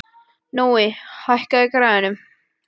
Nói, hækkaðu í græjunum.